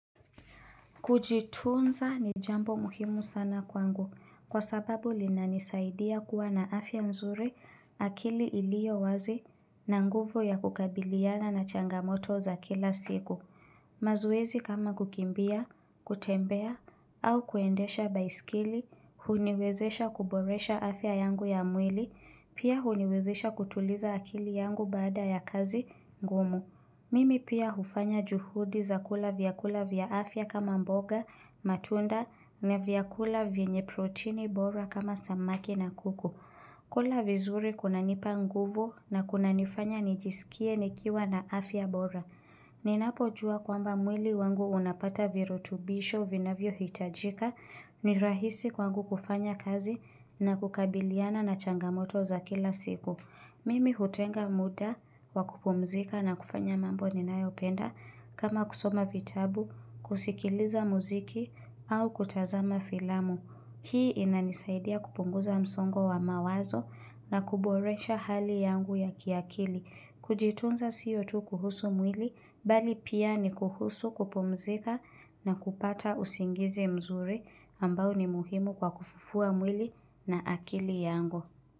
Kujitunza ni jambo muhimu sana kwangu kwa sababu linanisaidia kuwa na afya nzuri akili iliyo wazi na nguvu ya kukabiliana na changamoto za kila siku. Mazoezi kama kukimbia, kutembea au kuendesha baiskili, huniwezesha kuboresha afya yangu ya mwili, pia huniwezesha kutuliza akili yangu baada ya kazi ngumu. Mimi pia hufanya juhudi za kula vya kula vya afya kama mboga, matunda na vya kula vinye protini bora kama samaki na kuku. Kula vizuri kuna nipa nguvu na kuna nifanya nijisikie nikiwa na afya bora. Ninapo jua kwamba mwili wangu unapata virutubisho uvinavyo hitajika ni rahisi kwangu kufanya kazi na kukabiliana na changamoto za kila siku. Mimi hutenga muda wa kupumzika na kufanya mambo ninayopenda kama kusoma vitabu, kusikiliza muziki au kutazama filamu. Hii inanisaidia kupunguza msongo wa mawazo na kuboresha hali yangu ya kiakili. Kujitunza siyo tu kuhusu mwili, bali pia ni kuhusu kupumzika na kupata usingizi mzuri ambao ni muhimu kwa kufufua mwili na akili yangu.